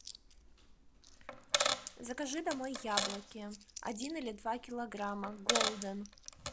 закажи домой яблоки один или два килограмма голден